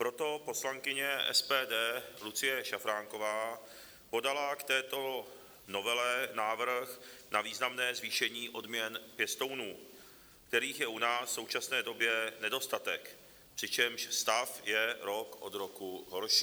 Proto poslankyně SPD Lucie Šafránková podala k této novele návrh na významné zvýšení odměn pěstounů, kterých je u nás v současné době nedostatek, přičemž stav je rok od roku horší.